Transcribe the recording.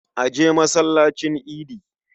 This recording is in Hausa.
A je masallacin idi.